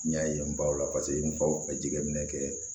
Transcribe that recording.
N y'a ye n baw la paseke n faw bɛ jateminɛ kɛ